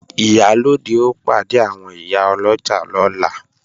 Ìyálóde ó pàdé àwọn ìyá ọlọ́jà lọ́la